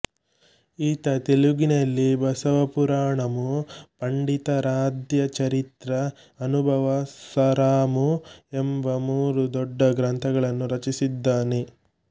ಈತ ತೆಲುಗಿನಲ್ಲಿ ಬಸವಪುರಾಣಮು ಪಂಡಿತಾರಾಧ್ಯಚರಿತ್ರ ಅನುಭವ ಸಾರಾಮು ಎಂಬ ಮೂರು ದೊಡ್ಡ ಗ್ರಂಥಗಳನ್ನು ರಚಿಸಿದ್ದಾನೆ